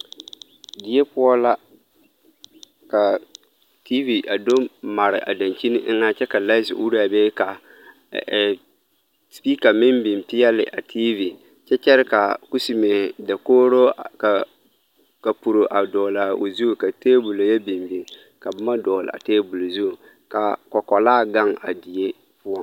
Die poɔ la ka tv a do mare a dankyini eŋɛ kyɛ ka light do ure a be ka ɛɛ speaker meŋ biŋ peɛle a tv kyɛ kyɛre ka a kusime dakogro ka ka kapuro a dɔgle a zu ka tabola yɔ biŋ biŋ ka boma dɔgle a table zu ka a kɔkɔlaa gaŋ a die poɔ.